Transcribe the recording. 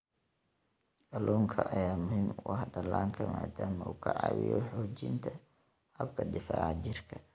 Kalluunka ayaa muhiim u ah dhallaanka maadaama uu ka caawiyo xoojinta habka difaaca jirka.